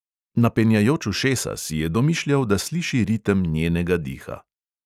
Napenjajoč ušesa si je domišljal, da sliši ritem njenega diha.